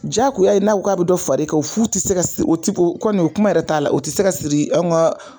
Diyagoya ye n'a ko k'a bɛ dɔ far'e kan o furu tɛ se ka siri o tɛ o kɔni o kuma yɛrɛ t'a la o tɛ se ka siri anw ka